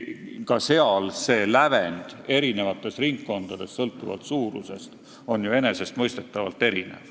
Ka see 5% lävend on eri suurusega ringkondades enesestmõistetavalt erinev.